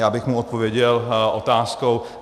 Já bych mu odpověděl otázkou.